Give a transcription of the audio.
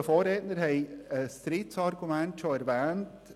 Einzelne Vorredner haben ein drittes Argument bereits erwähnt.